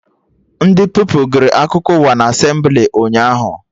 Ndị Pupilụ gụrụ akụkọ ụwa na Asemblị ụnyaahụ